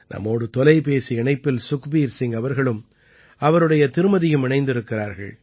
நம்மோடு தொலைபேசி இணைப்பில் சுக்பீர் சிங் அவர்களும் அவருடைய திருமதியும் இணைந்திருக்கிறார்கள்